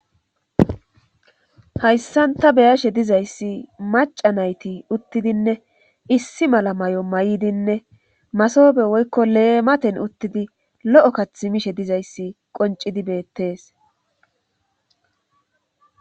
hayssanta beyashe dizayssi maca nayti uttidinne issi mala may7o maydinne masobe woykko leematen uttidi lo7o kath mishe dizayssi qoncidi beettes